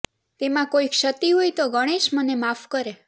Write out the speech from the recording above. તેમાં કોઈ ક્ષતિ હોય તો ગણેશ મને માફ કરે